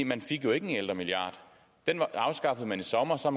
man fik jo ikke en ældremilliard den afskaffede man i sommer så